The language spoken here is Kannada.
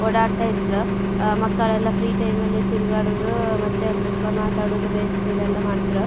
ಓಡಾಡತ್ರಿತ್ರು ಮಕ್ಕಳೆಲ್ಲಾ ಫ್ರೀ ಟೈಮ್ ಅಲ್ಲಿ ತಿರಗಾಡೋದು ಮತ್ತೆ ಅಲ್ಲಿ ಕೂತಕೊಂಡು ಮಾತಾಡೋದು ಬೆಂಚ್ ಮೇಲೆಲ್ಲಾ ಮಾಡತ್ರು.